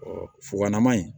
fugalaman in